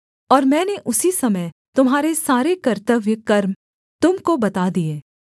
और मैंने उसी समय तुम्हारे सारे कर्तव्य कर्म तुम को बता दिए